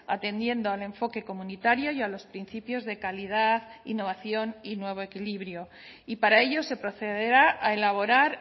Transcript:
atendiendo el enfoque comunitario y a los principios de calidad innovación y nuevo equilibrio y para ello se procederá a elaborar